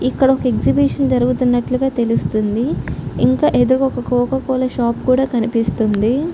ఇక్కడ ఒక ఎగ్జిబిషన్ జరుగుతున్నట్లుగా తెలుస్తుంది. ఇంకా ఏదో ఒక కోక కోల షాప్ కూడా కనిపిస్తుంది.